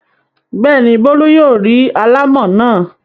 Bẹ́ẹ̀ ni, Bólú yóò rí alámọ̀ náà.